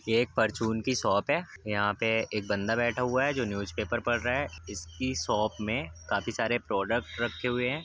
ये एक परचून की शॉप है। यहाँ पे एक बंदा बैठा हुआ है जो न्यूज़पेपर पढ़ रहा है। इसकी शॉप में काफी सारे प्रोडक्ट रखे हुए हैं।